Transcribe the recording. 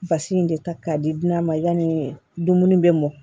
Basi in de ta k'a di n na ma yani dumuni bɛ mɔ